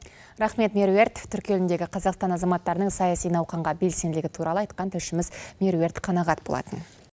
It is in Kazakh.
рахмет меруерт түрік еліндегі қазақстан азаматтарының саяси науқанға белсенділігі туралы айтқан тілшіміз меруерт қанағат болатын